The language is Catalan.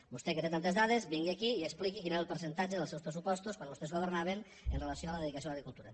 vostè que té tantes dades vingui aquí i expliqui quin era el percentatge dels seus pressupostos quan vostès governaven amb relació a la dedicació a l’agricultura